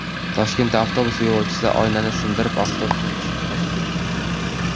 Toshkentda avtobus yo‘lovchisi oynani sindirib, avtobusdan tushib qochib ketdi.